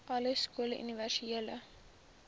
alle skole universele